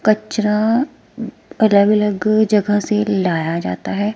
कचरा अलग अलग जगह से लाया जाता है।